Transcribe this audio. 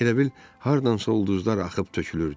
Elə bil hardansa ulduzlar axıb tökülürdü.